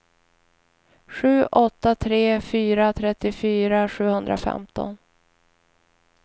sju åtta tre fyra trettiofyra sjuhundrafemton